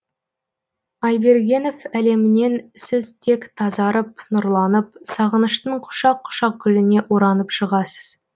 айбергенов әлемінен сіз тек тазарып нұрланып сағыныштың құшақ құшақ гүліне оранып шығасыз